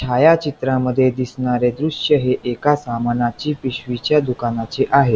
छायाचित्रामध्ये दिसणारे दृश्य हे एका सामानाची पिशवीच्या दुकानाचे आहे.